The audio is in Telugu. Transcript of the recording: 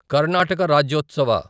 కర్ణాటక రాజ్యోత్సవ